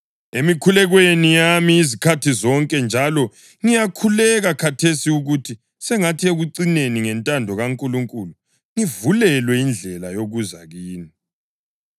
emikhulekweni yami izikhathi zonke; njalo ngiyakhuleka khathesi ukuthi sengathi ekucineni ngentando kaNkulunkulu ngivulelwe indlela yokuza kini.